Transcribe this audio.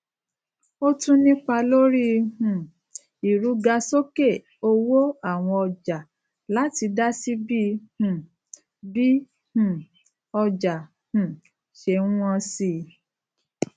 ó tún nípá lórí um ìrugasókè owó àwọn ọjà láti dásí bí um bí um ọjà um ṣé n wón si